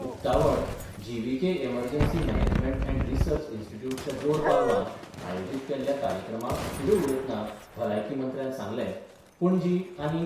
उक्तावण GVK emergency management and research इन्स्टिट्यूटच्या जोड पालवान आयोजीत केल्ल्या कार्यक्रमाक फुडें उलयतना भलायकी मंत्र्यान सांगले, पणजी आनी